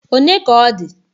One ka ọ dị?